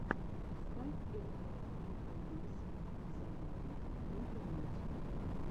поставь элайт инфобиз зароботок в интернете